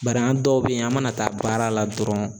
Bari an dɔw bɛ yen an mana taa baara la dɔrɔn